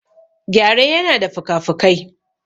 Gyare yana da fikafikai.